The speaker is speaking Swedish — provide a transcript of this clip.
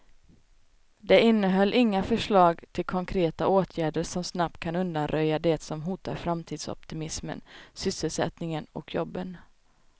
Det innehöll inga förslag till konkreta åtgärder som snabbt kan undanröja det som hotar framtidsoptimismen, sysselsättningen och jobben.